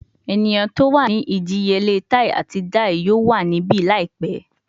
Eniyan ti o wa ni idiyele tai ati dai yoo wa nibi laipẹ